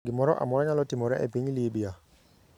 Gimoro amora nyalo timore e piny Libya.